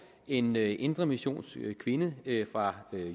en indremissionsk kvinde fra